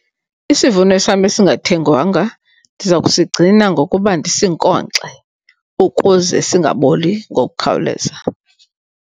Isivuno sam esingathengwanga ndiza kusigcina ngokuba ndisinkonkxe ukuze singaboli ngokukhawuleza.